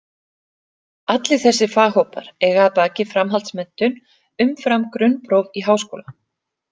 Allir þessir faghópar eiga að baki framhaldsmenntun umfram grunnpróf í háskóla.